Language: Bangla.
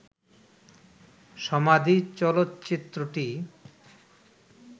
'সমাধি' চলচ্চিত্রটি